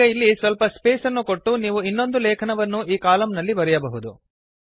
ಈಗ ಇಲ್ಲಿ ಸ್ವಲ್ಪ ಸ್ಪೇಸ್ ಅನ್ನು ಕೊಟ್ಟು ನೀವು ಇನ್ನೊಂದು ಲೇಖನವನ್ನು ಈ ಕಾಲಮ್ ನಲ್ಲಿ ಬರೆಯಬಹುದು